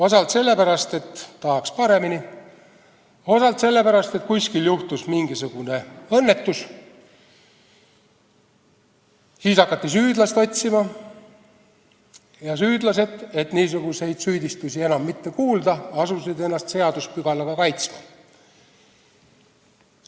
Osalt sellepärast, et tahaks paremini, osalt sellepärast, et kuskil juhtus mingisugune õnnetus, siis hakati süüdlasi otsima ja süüdlased, et niisuguseid süüdistusi enam mitte kuulda, asusid ennast seaduspügalaga kaitsma.